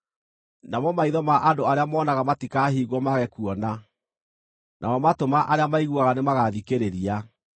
Namo maitho ma andũ arĩa moonaga matikaahingwo mage kuona, namo matũ ma arĩa maiguaga nĩmagathikĩrĩria.